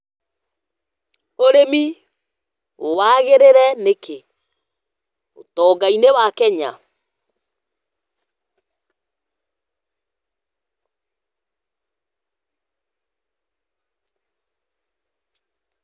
Read prompt question only